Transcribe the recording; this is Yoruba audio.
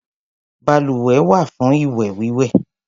Baluwẹ̀ wà fún ìwẹ̀-wíwẹ̀.